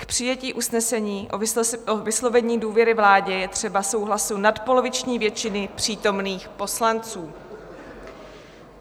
K přijetí usnesení o vyslovení důvěry vládě je třeba souhlasu nadpoloviční většiny přítomných poslanců.